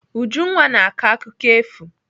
Ujunwa na-akọ akụkọ efu.